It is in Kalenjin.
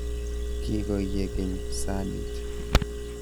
Kikoye keny' saaniit